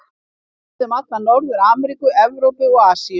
Hann lifði um alla Norður-Ameríku, Evrópu og Asíu.